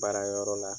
Baara yɔrɔ la